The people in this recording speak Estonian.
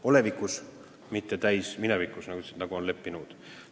Olevikus ja mitte täisminevikus, nagu sa ütlesid, et "on kokku leppinud".